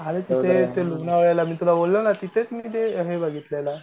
अरे तिथे लोणावळ्याला मित्र बोलला ना तिथेच मी ते हे बघितलेलं.